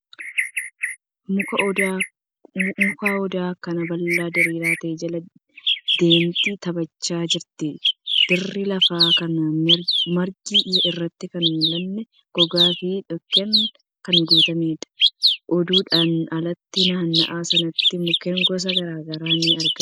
Muka odaa akkaan bal'aa diriiraa ta'e jala daa'imti taphachaa jirti. Dirri lafaa kan margi irratti hin mul'anne gogaa fi dhukkeen kan guutameedha. Odaadhan alatti , naanna'aa sanatti mukkeen gosa gara garaa ni argamu.